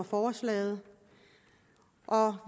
forslaget og